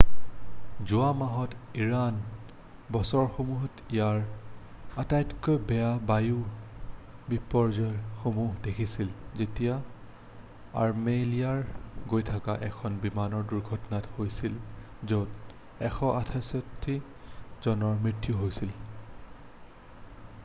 যোৱা মাহত ইৰাণে বছৰসমূহত ইয়াৰ আটাইতকৈ বেয়া বায়ু বিপৰ্য্যয়সমূহ দেখিছিল যেতিয়া আৰ্মেলিয়ালৈ গৈ থকা এখন বিমানৰ দূৰ্ঘটনা হৈছিল য'ত 168 জনৰ মৃত্যু হৈছিল৷